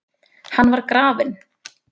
Hann var grafinn.